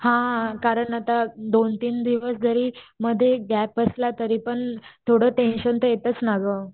हा हा कारण आता दोन तीन दिवस जरी मध्ये गॅप बसला तरीपण थोडं टेंशन तर येताच ना ग.